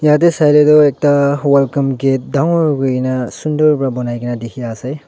yatae sailae tu ekta welcome gate dangor kuina sunder pa banaikaenae dikhia sey.